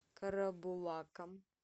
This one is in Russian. карабулаком